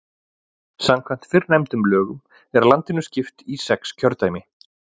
Samkvæmt fyrrnefndum lögum er landinu skipt í sex kjördæmi.